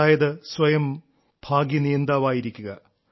അതായത് സ്വയം ഭാഗ്യനിയന്താവായിരിക്കുക